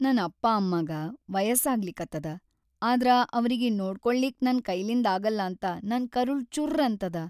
ನನ್‌ ಅಪ್ಪಾ ಅಮ್ಮಾಗ ಮಯಸ್ಸಾಗ್ಲಿಕತ್ತದ ಆದ್ರ ಅವ್ರಿಗಿ ನೋಡ್ಕೊಳ್ಳಿಕ್‌ ನನ್‌ ಕೈಲಿಂದಾಗಲ್ಲಾಂತ ನನ್‌ ಕರುಳ್ ಚುರ್ರ್ ಅಂತದ.